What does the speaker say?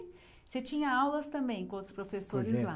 Você tinha aulas também com outros professores lá.